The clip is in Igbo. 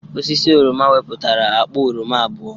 Osisi oroma weputara akpa oroma abụọ